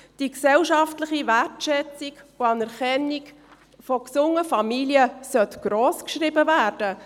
Die gesellschaftliche Wertschätzung für und die Anerkennung von gesunden Familien sollte grossgeschrieben werden.